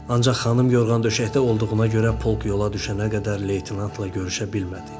Ancaq xanım yorğan döşəkdə olduğuna görə polk yola düşənə qədər leytenantla görüşə bilmədi.